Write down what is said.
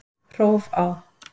Hrófá